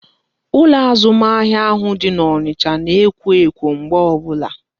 Ụlọ azụmahịa ahụ dị n'Onicha na ekwo ekwo mgbe ọbụla